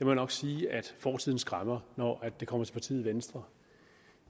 jeg nok sige at fortiden skræmmer når det kommer til partiet venstre